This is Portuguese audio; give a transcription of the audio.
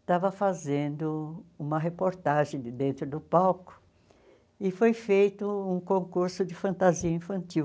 estava fazendo uma reportagem de dentro do palco e foi feito um concurso de fantasia infantil.